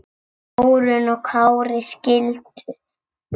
Þórunn og Kári skildu.